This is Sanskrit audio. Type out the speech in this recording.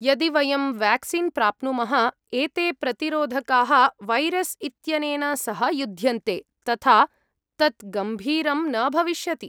यदि वयं वेक्सीन् प्राप्नुमः, एते प्रतिरोधकाः वैरस् इत्यनेन सह युध्यन्ते, तथा तत् गम्भीरं न भविष्यति।